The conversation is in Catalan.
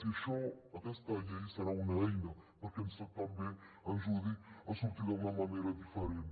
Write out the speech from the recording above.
i això aquesta llei serà una eina perquè també ens ajudi a sortir d’una manera diferent